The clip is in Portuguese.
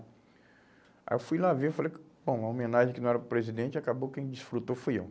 Aí eu fui lá ver e falei, bom, uma homenagem que era para o presidente, acabou que quem desfrutou fui eu.